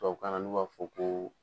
Tubabu kanna n' u b'a fɔ ko